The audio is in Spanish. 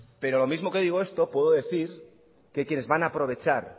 pero lo mismo que digo esto puedo decir que quienes van a aprovechar